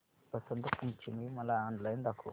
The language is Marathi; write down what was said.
वसंत पंचमी मला ऑनलाइन दाखव